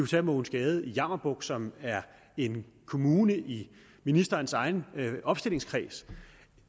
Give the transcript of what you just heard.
tage mogens gade i jammerbugt kommune som er en kommune i ministerens egen opstillingskreds